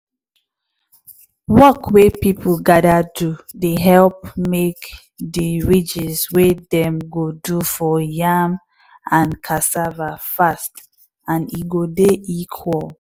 work wey people gather do dey help make de ridges wey dem go do for yam and cassava fast and e go dey equal.